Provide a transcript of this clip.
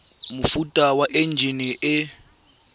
mofuta wa enjine e e